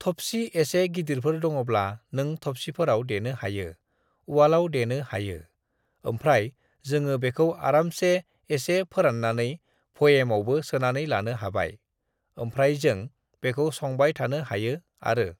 "थबसि एसे गिदिरफोर दङब्ला नों थबसिफोराव देनो हायो, उवालाव देनो हायो। ओमफ्राय जोङो बेखौ आरामसे एसे फोराननानै भयेमावबो सोनानै लानो हाबाय, ओमफ्राय जों बेखौ संबाय थानो हायो आरो।"